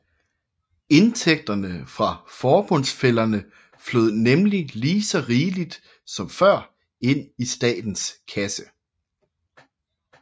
Indtægterne fra forbundsfællerne flød nemlig lige så rigeligt som før ind i statens kasse